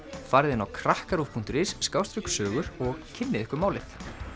farið inn á krakkaruv punktur is og kynnið ykkur málið